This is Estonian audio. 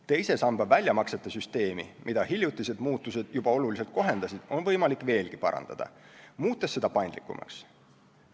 Teise samba väljamaksete süsteemi, mida hiljutised muutused juba oluliselt kohendasid, on võimalik veelgi parandada, muutes seda paindlikumaks.